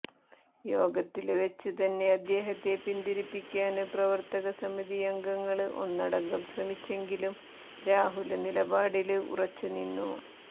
യോഗത്തില് വച്ച് തന്നെ അദ്ദേഹത്തെ പിന്തിരിപ്പിക്കാന് പ്രവര്ത്തക സമിതിയംഗങ്ങള് ഒന്നടങ്കം ശ്രമിച്ചെങ്കിലും രാഹുല് നിലപാടില് ഉറച്ചു നിന്നു